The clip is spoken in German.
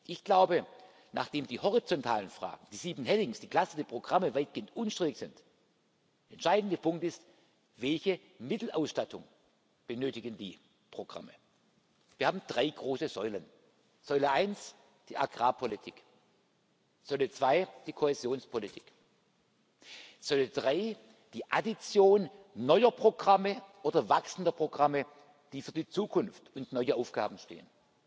ist? Ich glaube, dass, nachdem die horizontalen Fragen, die sieben headings, die klassischen Programme weitgehend unstrittig sind, der entscheidende Punkt ist Welche Mittelausstattung benötigen die Programme? Wir haben drei große Säulen Säule 1 die Agrarpolitik, Säule 2 die Kohäsionspolitik, Säule 3 die Addition neuer Programme oder wachsender Programme, die für die Zukunft und neue Aufgaben stehen.